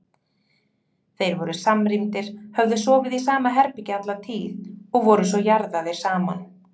Þeir voru samrýndir, höfðu sofið í sama herbergi alla tíð og voru svo jarðaðir saman.